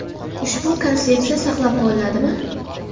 Ushbu konsepsiya saqlab qolinadimi?